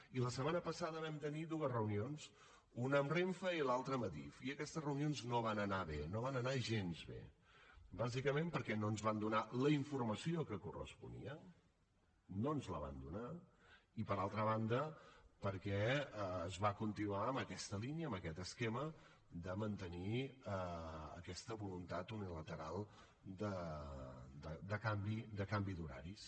i la setmana passada vam tenir dues reunions una amb renfe i l’altra amb adif i aquestes reunions no van anar bé no van anar gens bé bàsicament perquè no ens van donar la informació que corresponia no ens la van donar i per altra banda perquè es va continuar en aquesta línia amb aquest esquema de mantenir aquesta voluntat unilateral de canvi d’horaris